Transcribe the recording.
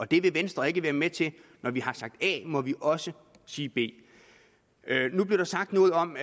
det vil venstre ikke være med til når vi har sagt a må vi også sige b nu blev der sagt noget om